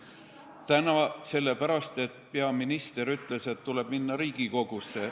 Täna tulin sellepärast, et peaminister ütles, et tuleb minna Riigikogusse.